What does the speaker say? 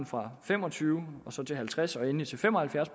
fra fem og tyve procent til halvtreds procent og endelig til fem og halvfjerds